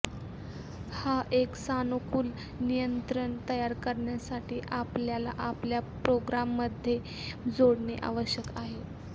हा एक सानुकूल नियंत्रण तयार करण्यासाठी आपल्याला आपल्या प्रोग्राममध्ये जोडणे आवश्यक आहे